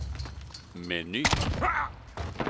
meny